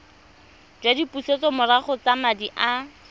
jwa dipusetsomorago tsa madi a